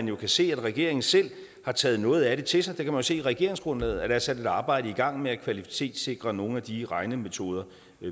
jo se at regeringen selv har taget noget af det til sig man kan jo se i regeringsgrundlaget at der er sat et arbejde i gang med at kvalitetssikre nogle af de regnemetoder